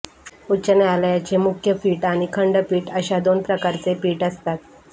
उच्च न्यायालयाचे मुख्यपीठ आणि खंडपीठ अशा दोन प्रकारचे पीठ असतात